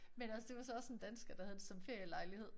Men altså det var så også en dansker der havde det som ferielejlighed